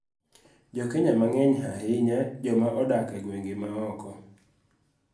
Jo Kenya mang�eny, ahinya joma odak e gwenge ma oko,